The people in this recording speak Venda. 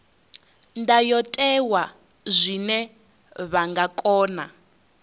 ndayotewa zwine vha nga kona